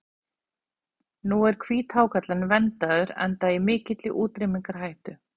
Nú er hvíthákarlinn verndaður enda í mikilli útrýmingarhættu.